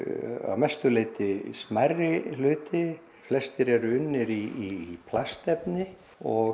að mestu leyti smærri hluti flestir eru unnir í plastefni og